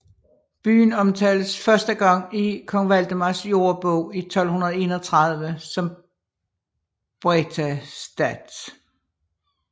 Byen omtales første gang i kong Valdemars Jordebog i 1231 som Brethaestath